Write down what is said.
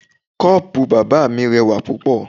Koopu bàbá mi rẹwà púpọ̀.